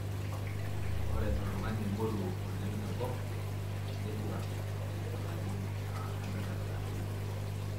Ore oltungani moruo oleng tenkop netwa etalarin 113.